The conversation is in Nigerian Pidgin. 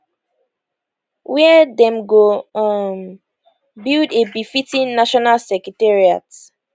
wia dem go um build a befitting national secretariat